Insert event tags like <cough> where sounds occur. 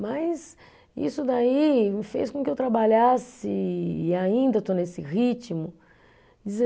Mas isso daí me fez com que eu trabalhasse, e ainda estou nesse ritmo <unintelligible>